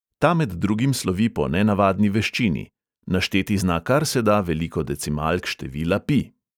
Ta med drugim slovi po nenavadni veščini: našteti zna kar se da veliko decimalk števila pi.